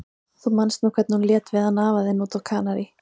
Þú manst nú hvernig hún lét við hann afa þinn úti á Kanarí.